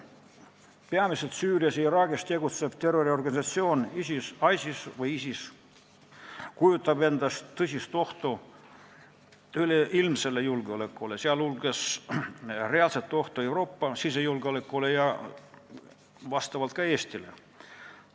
Peamiselt Süürias ja Iraagis tegutsev terroriorganisatsioon ISIS kujutab endast tõsist ohtu üleilmsele julgeolekule, sh reaalset ohtu Euroopa sisejulgeolekule ja ka Eestile.